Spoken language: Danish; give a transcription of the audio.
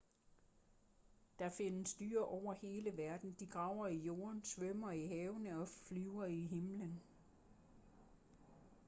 der findes dyr over hele verden de graver i jorden svømmer i havene og flyver i himlen